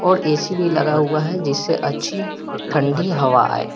और ए_सी भी लगा हुआ हैं जिससे अच्छी ठंडी हवा आए।